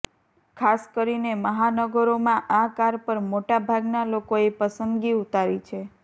ખાસ કરીને મહાનગરોમાં આ કાર પર મોટા ભાગના લોકોએ પસંદગી ઊતારી છે